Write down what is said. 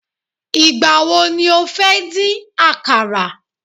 igbawo ni o fe din àkàrà